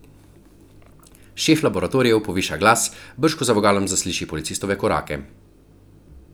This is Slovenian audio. Šef laboratorijev poviša glas, brž ko za vogalom zasliši Policistove korake.